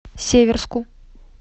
северску